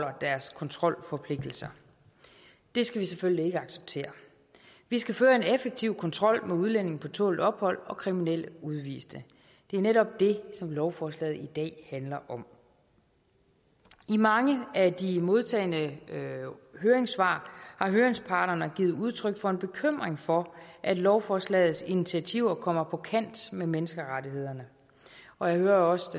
deres kontrolforpligtelser det skal vi selvfølgelig ikke acceptere vi skal føre en effektiv kontrol med udlændinge på tålt ophold og kriminelle udviste det er netop det som lovforslaget i dag handler om i mange af de modtagne høringssvar har høringsparterne giver udtryk for en bekymring for at lovforslagets initiativer kommer på kant med menneskerettighederne og jeg hører også